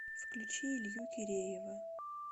включи илью киреева